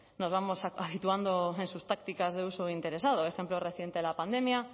nos vamos habituando en sus tácticas de uso interesado ejemplo reciente la pandemia